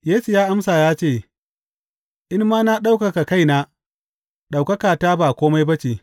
Yesu ya amsa ya ce, In ma na ɗaukaka kaina, ɗaukakata ba kome ba ce.